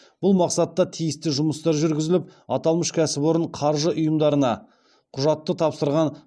бұл мақсатта тиісті жұмыстар жүргізіліп аталмыш кәсіпорын қаржы ұйымдарына құжаттар тапсырған